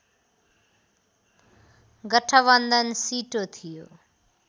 गठबन्धन सिटो थियो